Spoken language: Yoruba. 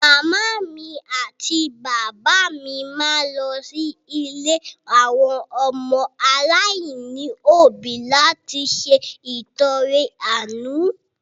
Màmá mi àti bàbá mi máa lọ sí ilé àwọn ọmọ aláìní òbí láti ṣe ìtọrẹ àánú.